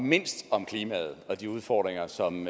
mindst om klimaet og de udfordringer som